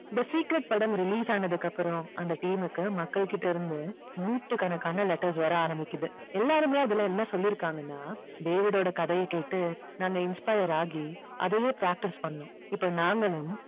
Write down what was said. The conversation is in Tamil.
the secret படம் release ஆனதுக்கு அப்புறம் அந்த team க்கு மக்கள் கிட்ட இருந்து நூற்றுக்கணக்கான letters வர ஆரம்பிக்குது எல்லாருமே அதுல என்ன சொல்லி இருக்காங்கன்னா டேவிடோட கதைய கேட்டு நாங்க inspire ஆகி அதையே practice பண்ணோம் இப்போ நாங்களும்